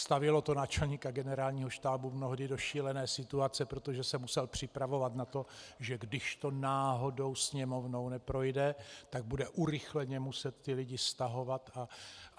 Stavělo to náčelníka Generálního štábu mnohdy do šílené situace, protože se musel připravovat na to, že když to náhodou Sněmovnou neprojde, tak bude urychleně muset ty lidi stahovat.